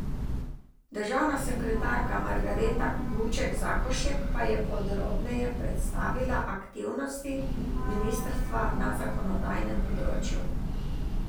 Državna sekretarka Margareta Guček Zakošek pa je podrobneje predstavila aktivnosti ministrstva na zakonodajnem področju.